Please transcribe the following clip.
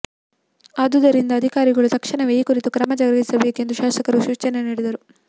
ಆದುದರಿಂದ ಅಧಿಕಾರಿಗಳು ತಕ್ಷಣವೇ ಈ ಕುರಿತು ಕ್ರಮ ಜರಗಿಸಬೇಕೆಂದು ಶಾಸಕರು ಸೂಚನೆ ನೀಡಿದರು